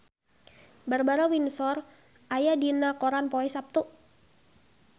Barbara Windsor aya dina koran poe Saptu